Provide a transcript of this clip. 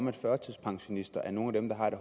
at førtidspensionister er nogle af dem der har det